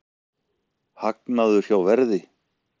Hagnaður hjá Verði